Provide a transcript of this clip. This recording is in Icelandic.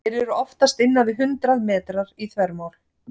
Þeir eru oftast innan við hundrað metrar í þvermál.